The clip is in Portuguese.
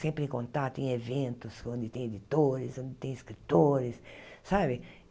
sempre em contato, em eventos, onde tem editores, onde tem escritores sabe.